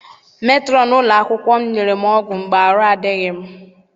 Metrọn ụlọ akwụkwọ nyere m ọgwụ mgbe arụ adịghị m.